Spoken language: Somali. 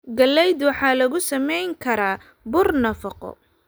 Galaydu waxaa lagu sameyn karaa bur nafaqo.